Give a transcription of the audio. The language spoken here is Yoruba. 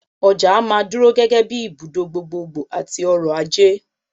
Ọjà á máa dúró gẹ́gẹ́ bíi ibùdó gbogbogbò àti ọrọ̀-ajé.